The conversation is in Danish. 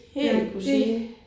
Ja det